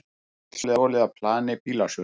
Bíl stolið af plani bílasölu